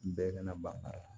Bɛɛ kana ban a la